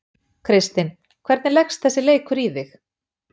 Kristinn, hvernig leggst þessi leikur í þig?